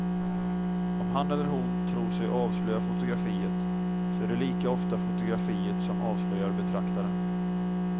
Om han eller hon tror sig avslöja fotografiet, så är det lika ofta fotografiet som avslöjar betraktaren.